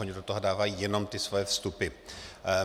Oni do toho dávají jenom ty svoje vstupy.